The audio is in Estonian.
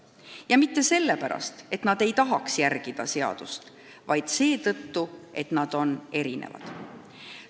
Ja mitte sellepärast, et nad ei taha seadust järgida, vaid seetõttu, et nad on erinevad.